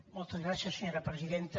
moltes gràcies senyora presidenta